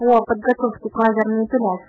подготовки файлов